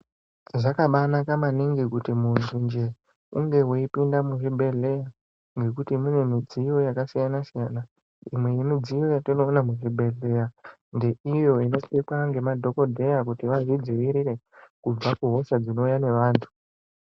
Zvakabaanaka maningi kuti munthunje unge weipinda muchibhedhlera nekuti mune midziyo yakasiyana siyana imwe yemidziyo yatinoona muchibhedhleya ndeiyo inopfekwa ngemadhokodheya kuti vazvidzivirire kubva kuhosha dzinouya nevanthu.